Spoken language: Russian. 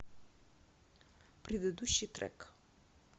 предыдущий трек